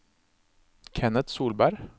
Kenneth Solberg